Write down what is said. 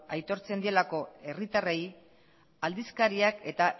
aitortzen dielako herritarrei aldizkariak eta